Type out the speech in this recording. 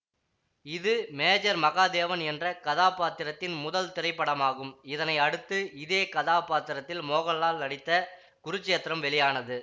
இது மேஜர் மகாதேவன் என்ற கதாபாத்திரத்தின் முதல் திரைப்படமாகும் இதனை அடுத்து இதே கதாபாத்திரத்தில் மோகன்லால் நடித்த குருச்சேத்திரம் வெளியானது